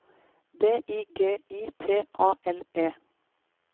D I G I T A L E